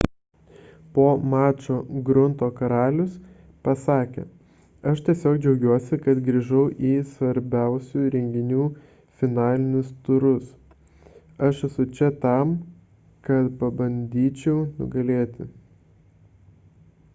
po mačo grunto karalius pasakė aš tiesiog džiaugiuosi kad grįžau į svarbiausių renginių finalinius turus aš esu čia tam kad pabandyčiau nugalėti